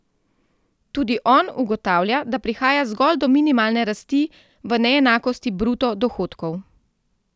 Tudi on ugotavlja, da prihaja zgolj do minimalne rasti v neenakosti bruto dohodkov.